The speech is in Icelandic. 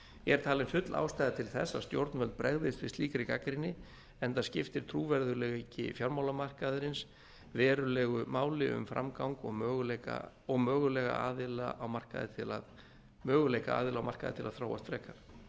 er talin full ástæða til þess að stjórnvöld bregðist við slíkri gagnrýni enda skiptir trúverðugleiki fjármálamarkaðarins verulegu máli um framgang og möguleika aðila á markaði til að þróast frekar